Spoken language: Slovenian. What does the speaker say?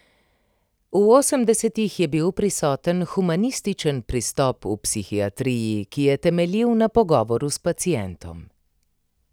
V osemdesetih je bil prisoten humanističen pristop v psihiatriji, ki je temeljil na pogovoru s pacientom.